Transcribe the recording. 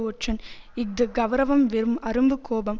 ஒற்றன் இஃது கெளரவம் வெறும் அரும்பு கோபம்